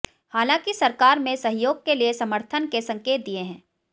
हालांकि सरकार में सहयोग के लिए समर्थन के संकेत दिए हैं